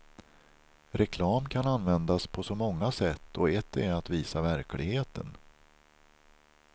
Reklam kan användas på så många sätt och ett är att visa verkligheten.